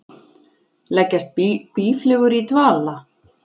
Leggjast býflugur í dvala?